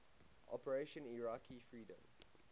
operation iraqi freedom